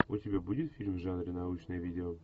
у тебя будет фильм в жанре научное видео